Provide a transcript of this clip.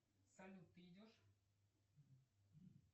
салют ты идешь